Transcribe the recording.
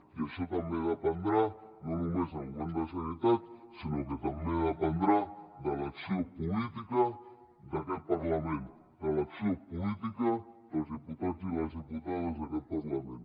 i això també dependrà no només del govern de la generalitat sinó que també dependrà de l’acció política d’aquest parlament de l’acció política dels diputats i les diputades d’aquest parlament